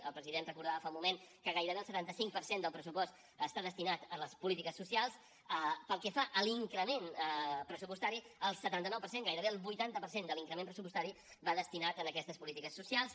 el president recordava fa un moment que gairebé el setanta cinc per cent del pressupost està destinat a les polítiques socials pel que fa a l’increment pressupostari el setanta nou per cent gairebé el vuitanta per cent de l’increment pressupostari va destinat a aquestes polítiques socials